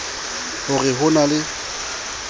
ho re ho na le